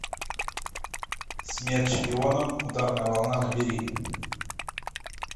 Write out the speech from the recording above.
смерть шпионам ударная волна набери